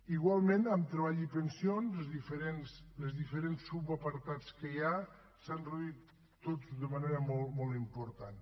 igualment amb treball i pensions als diferents subapartats que hi ha s’han reduït tots d’una manera molt important